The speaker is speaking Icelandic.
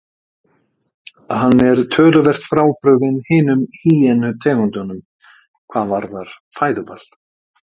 Hann er töluvert frábrugðinn hinum hýenu tegundunum hvað varðar fæðuval.